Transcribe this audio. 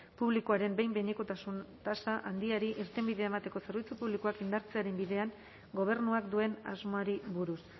publikoaren behin behinekotasun tasa handiari irtenbidea emateko zerbitzu publikoak indartzearen bidean gobernuak duen asmoari buruz